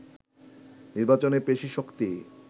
নির্বাচনে পেশীশক্তি